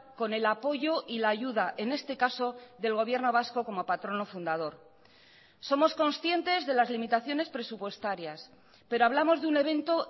con el apoyo y la ayuda en este caso del gobierno vasco como patrono fundador somos conscientes de las limitaciones presupuestarias pero hablamos de un evento